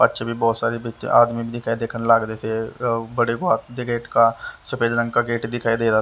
बच्चे भी बहुत सारे बच्चे आदमी भी दिखाई देखन लाग रे से बड़े को गेट का सफेद रंग का गेट दिखाई दे रहा--